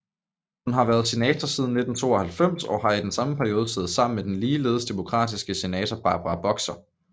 Hun har været senator siden 1992 og har i samme periode siddet sammen med den ligeledes demokratiske senator Barbara Boxer